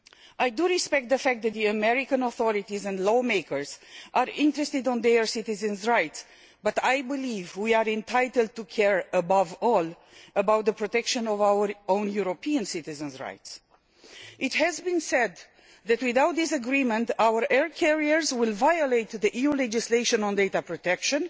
I respect the fact that the American authorities and lawmakers are interested in their citizens' rights, but I believe that we are entitled to care above all about the protection of our own European citizens' rights. It has been said that, without this agreement, our air carriers will violate EU legislation on data protection